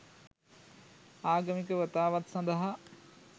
ආගමික වතාවත් සඳහා